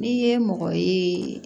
N'i ye mɔgɔ ye